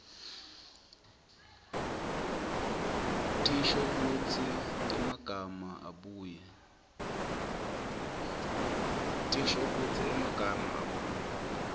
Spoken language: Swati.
tinshokutsi temagama abuye